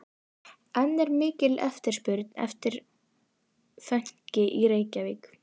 En er mikil eftirspurn eftir fönki í Reykjavík?